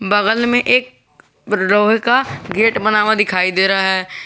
बगल में एक लोहे का गेट बना हुआ दिखाई दे रहा है।